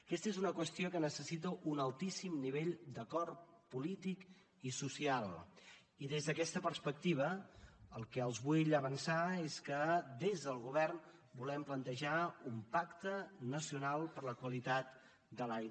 aquesta és una qüestió que necessita un altíssim nivell d’acord polític i social i des d’aquesta perspectiva el que els vull avançar és que des del govern volem plantejar un pacte nacional per la qualitat de l’aire